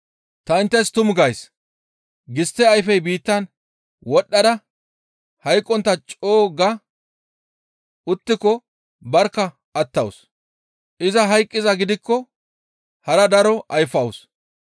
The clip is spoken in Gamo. Ta inttes tumu gays; gistte ayfey biittan wodhdhada hayqqontta co7u ga uttiko barkka attawus. Iza hayqqizaa gidikko hara daro ayfawus.